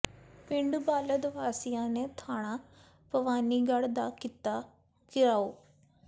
ਪਿੰਡ ਬਾਲਦ ਵਾਸੀਆਂ ਨੇ ਥਾਣਾ ਭਵਾਨੀਗੜ੍ਹ ਦਾ ਕੀਤਾ ਿਘਰਾਓ